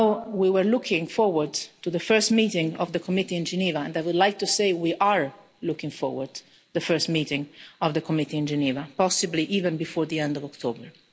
We were looking forward to the first meeting of the committee in Geneva and I would like to say that we are indeed looking forward to the first meeting of the committee in Geneva possibly even before the end of October.